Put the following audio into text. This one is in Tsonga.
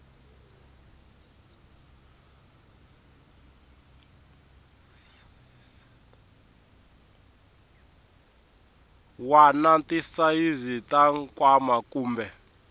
wana tisayizi ta nkwama kumbe